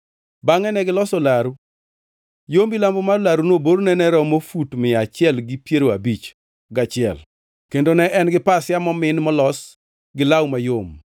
Bangʼe negiloso laru. Yo milambo mar laruno borne ne romo fut mia achiel gi piero abich gachiel kendo ne en gi pasia momin molos gi law mayom,